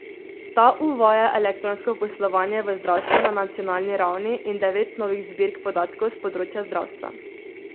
Ta uvaja elektronsko poslovanje v zdravstvu na nacionalni ravni in devet novih zbirk podatkov s področja zdravstva.